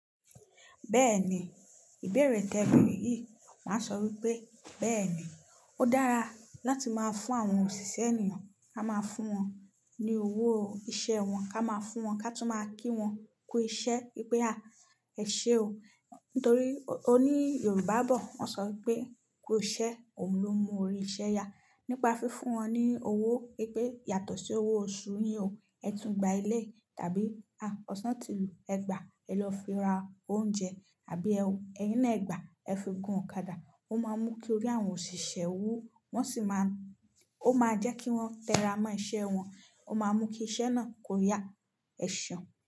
Bẹ́ẹ̀ni, ìbéèrè tẹ̀bẹ̀rẹ̀ yìí, màá sọ wípé bẹ́ẹ̀ni ó dára láti máa fún àwọn òṣìṣẹ́ ènìyàn. A máa fún wọn ní owó iṣẹ́ wọn, ká máa fún wọn ká tú máa kí wọn kú iṣẹ́. I pé à, ẹ̀ ṣe o. Nítorí oní Yorùbá bọ̀ won sọ wípé "kú iṣẹ́, òun ló mú orí iṣẹ́ ya" nípa fífún wọn ní owó. Í pé yàtọ̀ sí owó oṣù yín o, ẹ tún gba éléyì tàbí ọ̀sán ti lù ẹ gba, ẹ lọ fi ra oúnjẹ àbí ẹyín náà ẹ gba, ẹ fi gun ọ̀kadà. Ó máa mú kí orí àwọn òṣìṣẹ́ wú, wọ́n sì máa, ó máa jẹ́ kí wọ́n tẹ́ra mọ́ iṣẹ́ wọn, ó máa mú kí iṣẹ́ náà kó yá ẹ̀seun.